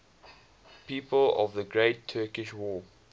people of the great turkish war